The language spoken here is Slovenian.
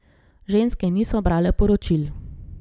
Ženske niso brale poročil.